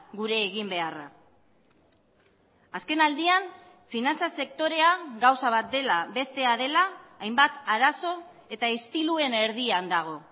gure eginbeharra azken aldian finantza sektorea gauza bat dela bestea dela hainbat arazo eta istiluen erdian dago